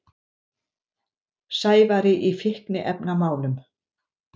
Sævari í fíkniefnamálum.